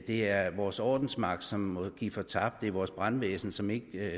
det er vores ordensmagt som må give fortabt det er vores brandvæsen som ikke